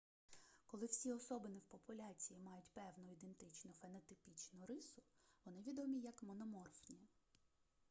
коли всі особини в популяції мають певну ідентичну фенотипічну рису вони відомі як мономорфні